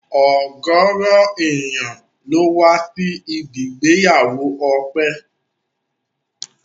Ọ̀gọrọ ènìyàn ló wá sí ibi ìgbéyàwó Ọpẹ́